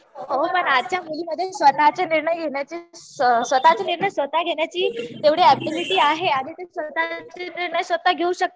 हो पण आजच्या मुलींमध्ये स्वतःचे निर्णय स्वतः घेण्याची तेवढी ऍबिलिटी आहे. आणि त्या स्वतःचे निर्णय स्वतः घेऊ